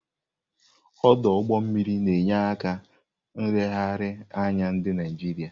Ọdụ ụgbọ mmiri na-enye aka na nlegharị anya ndị Naijiria.